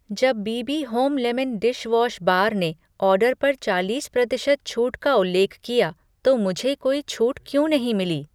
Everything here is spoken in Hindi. जब B B home lemon dish wash bar ने ऑर्डर पर चालीस प्रतिशत छूट का उल्लेख किया तो मुझे कोई छूट क्यों नहीं मिली?